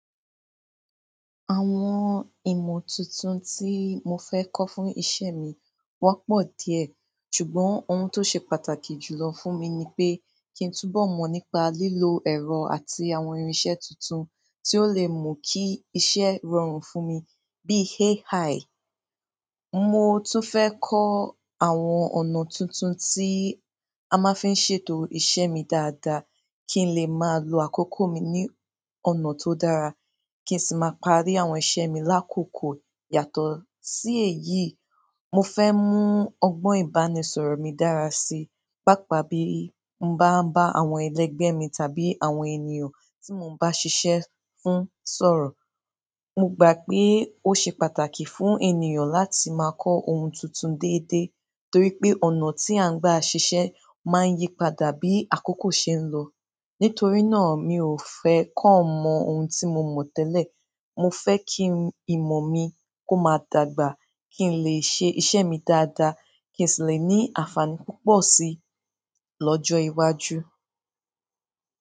Àwọn ìmọ̀ tuntun tí mo fẹ́ kọ́ fún iṣẹ́ mi wọ́n pọ̀ díẹ̀, ṣùgbọ́n ohun tó ṣe pàtàkì jùlọ fún mi ni pé kí n túnbọ̀ mọ̀ nípa lílo ẹ̀rọ àti àwọn irinṣẹ́ tuntun tí ó lè mú kí iṣẹ́ rọrùn fún mi bíi AI. Mo tún fẹ́ kọ́ àwọn ọ̀nà tuntun tí a máa ń fi ṣètò iṣẹ́ mi dáadáa kí n lè máa lo àkókò mi ní ọ̀nà tó dára, kí n sì máa parí àwọn iṣẹ́ mi lákòókò. Yàtọ̀ sí èyí, mo fẹ́ mú ọgbọ́n ìbánisọ̀rọ̀ mi dára sí, pàápàá bí mo bá ń bá àwọn ẹlẹgbẹ́ mi tàbí àwọn ènìyàn tí mo ń bá ṣiṣẹ́ fún sọ̀rọ̀. Mo gbà pé ó ṣe pàtàkì fún ènìyàn láti máa kọ́ ohun tuntun déédéé torí pé ọ̀nà tí à ń gba ṣiṣẹ́ máa ń yípadà bí àkókò ṣe ń lọ. Nítorí náà, mi ò fẹ́ kàn mọ ohun tí mo mọ̀ tẹ́lẹ̀. Mo fẹ́ kí ìmọ̀ mi kó máa dàgbà kí n lè ṣe iṣẹ́ mi dáadáa kí n sì lè ní àǹfààní púpọ̀ sí i lọ́jọ́ iwájú.